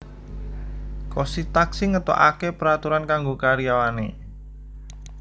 Kosti Taksi ngetoake peraturan kanggo karyawane